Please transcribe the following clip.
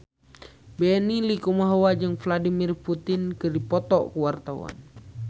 Benny Likumahua jeung Vladimir Putin keur dipoto ku wartawan